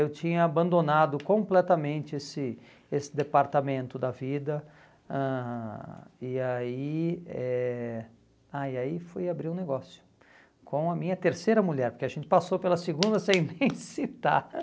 Eu tinha abandonado completamente esse esse departamento da vida ãh e eh ah e aí fui abrir um negócio com a minha terceira mulher, porque a gente passou pela segunda sem nem citar.